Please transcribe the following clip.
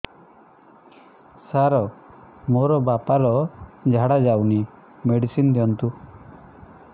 ସାର ମୋର ବାପା ର ଝାଡା ଯାଉନି ମେଡିସିନ ଦିଅନ୍ତୁ